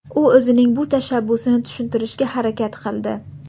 U o‘zining bu tashabbusini tushuntirishga harakat qildi.